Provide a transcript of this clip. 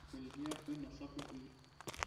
oldia oinosa kukui